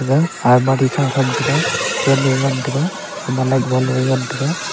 ga almari khama thamtaga fan ye ngantaga gaman light bulb lungye ngantaga.